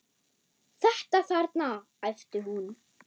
Þetta þarna, æpti hún.